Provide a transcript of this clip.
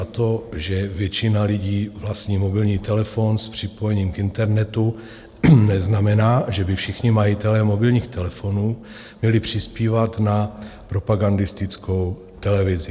A to že většina lidí vlastní mobilní telefon s připojením k internetu, neznamená, že by všichni majitelé mobilních telefonů měli přispívat na propagandistickou televizi.